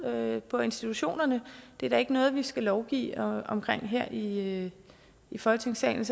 ude på institutionerne det er da ikke noget vi skal lovgive om her i folketingssalen